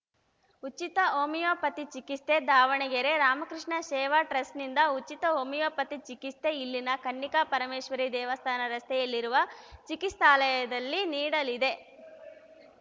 ಉಚಿತ ಹೋಮಿಯೋಪತಿ ಚಿಕಿತ್ಸೆ ದಾವಣಗೆರೆ ರಾಮಕೃಷ್ಣ ಸೇವಾ ಟ್ರಸ್ಟ್‌ ನಿಂದ ಉಚಿತ ಹೋಮಿಯೋಪತಿ ಚಿಕಿತ್ಸೆ ಇಲ್ಲಿನ ಕನ್ನಿಕಾ ಪರಮೇಶ್ವರಿ ದೇವಸ್ಥಾನ ರಸ್ತೆಯಲ್ಲಿರುವ ಚಿಕಿತ್ಸಾಲಯದಲ್ಲಿ ನೀಡಲಿದೆ